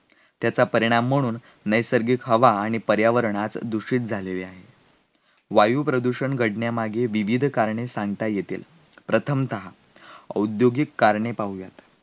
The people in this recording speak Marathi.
त्याचा परिणाम म्हणून नैसर्गिक हवा आणि पर्यावरणात दुसरी झालेली आहे, वायुप्रदूषण घडण्यामागे विविध कारणे सांगता येतील प्रथमतहा औद्योगिक कारणे पाहूया